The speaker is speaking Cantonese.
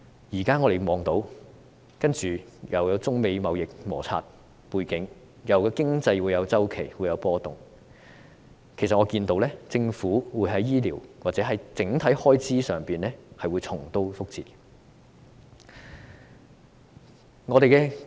現在我們看到，有中美貿易摩擦的背景，又有經濟周期的波動，我預見政府會在醫療或者整體開支上重蹈覆轍。